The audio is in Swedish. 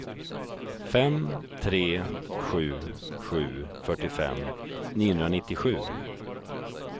fem tre sju sju fyrtiofem niohundranittiosju